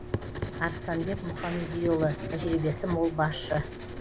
арыстанбек мұхамедиұлы тәжірибесі мол басшы